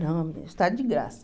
Não, estado de graça.